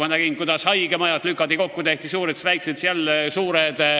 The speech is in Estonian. Ma olen näinud, kuidas haigemajad lükati kokku, tehti suured, siis väiksed ja siis jälle suured.